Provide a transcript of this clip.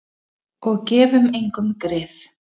Og gefum engum grið.